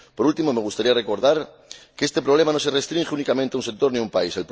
Por último, me gustaría recordar que este problema no se restringe únicamente a un sector ni a un país.